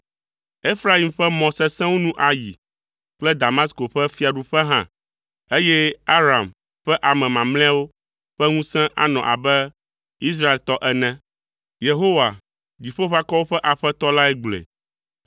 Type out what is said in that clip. Efraim ƒe mɔ sesẽwo nu ayi kple Damasko ƒe fiaɖuƒe hã, eye Aram ƒe ame mamlɛawo ƒe ŋusẽ anɔ abe Israeltɔ ene.” Yehowa, Dziƒoʋakɔwo ƒe Aƒetɔ lae gblɔe.